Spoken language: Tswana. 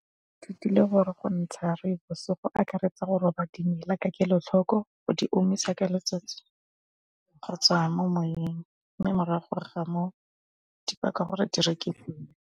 Ithutile gore go ntsha rooibos go akaretsa go roba dimela ka kelotlhoko go di omisa ka letsatsi go tswa mo moweng mme morago ga moo gore di rekisiwe.